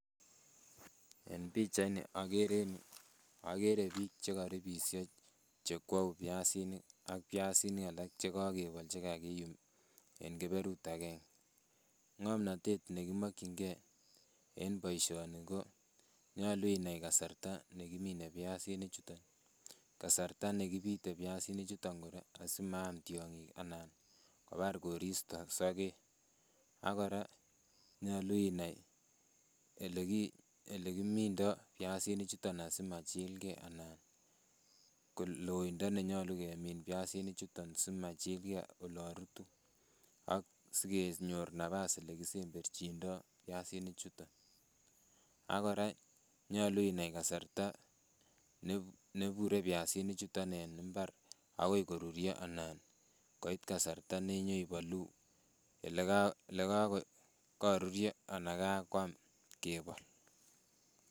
En pichaini okere biik chekoribisho chekwou biasinik ak biasinik alak chekokebol chekakiyum en keberut akeng'e, ng'omnotet nekimokying'e en boishoni konyolu inai kasarta nekimine biasinichuton, kasarta nekibite biasinichuton kora asimaam tiong'ik anan kobar koristo sokek, akora nyolu inai elekimindo biasinichuton asimachilke anan koloindo nenyolu kemin biasinichuton simachilke olonrutu ak sikenyor nabas elekisemberchindo biasinichuton, akora nyolu inai kasarta nebure biasinichuton en imbar akoi koruryo anan koit kasarta nenyoibolu elekakoruryo anan kokakwam kebol.